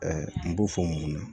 n b'o fɔ mun na